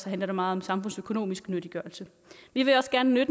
handler det meget om samfundsøkonomisk nyttiggørelse vi vil også gerne